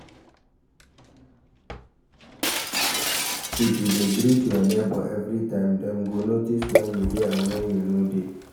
If you de greet your neighbour everytime dem go notice when you de and when you no de